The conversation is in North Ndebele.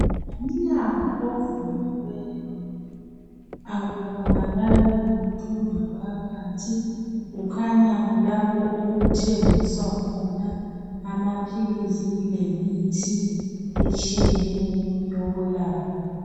ngumnyango ovuliweyo akubonakali muntu ngaphakathi kukhanya kulapho okuthengiswa khona amaphilisi lemithi etshiyeneyo yokwelapha